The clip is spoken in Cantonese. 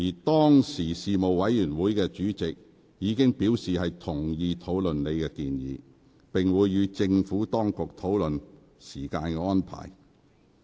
當時該事務委員會的主席已表示同意討論你的有關建議，並會與政府當局商討時間安排。